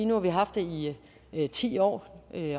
nu har vi haft det i ti år